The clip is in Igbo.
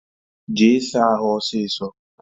Jee saa ahụ ọsịsọ!